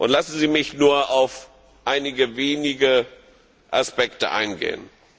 Lassen Sie mich nur auf einige wenige Aspekte eingehen.